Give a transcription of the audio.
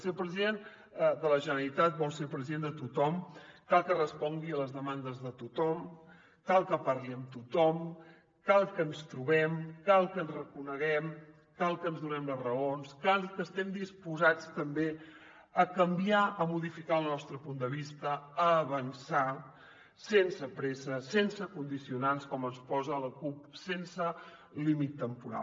si el president de la generalitat vol ser president de tothom cal que respongui a les demandes de tothom cal que parli amb tothom cal que ens trobem cal que ens reconeguem cal que ens donem les raons cal que estem disposats també a canviar a modificar el nostre punt de vista a avançar sense pressa sense condicionants com ens posa la cup sense límit temporal